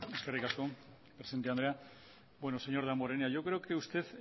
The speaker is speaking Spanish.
eskerrik asko presidenta andrea señor damborenea creo que usted